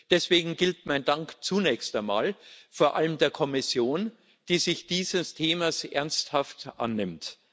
Deswegen gilt mein Dank zunächst einmal vor allem der Kommission, die sich dieses Themas ernsthaft annimmt.